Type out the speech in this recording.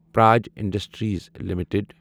purge industries limited